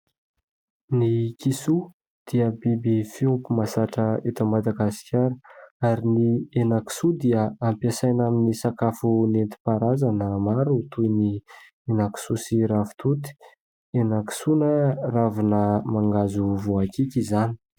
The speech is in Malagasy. Ny kisoa dia biby fiompy mahazatra eto Madagasikara ary ny henan-kisoa dia ampiasaina amin'ny sakafo nentim-paharazana. Maro toy ny henan-kisoa sy ravitoto henan-kisoa na ravina mangahazo voakiky izany.